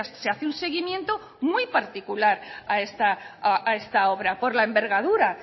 se hace un seguimiento muy particular a esta obra por la envergadura